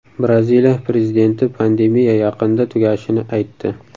Braziliya prezidenti pandemiya yaqinda tugashini aytdi.